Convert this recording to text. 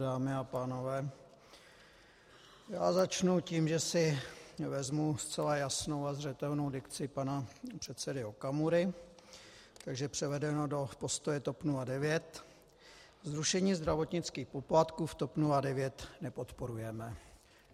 Dámy a pánové, já začnu tím, že si vezmu zcela jasnou a zřetelnou dikci pana předsedy Okamury, takže převedeno do postoje TOP 09 zrušení zdravotnických poplatků v TOP 09 nepodporujeme.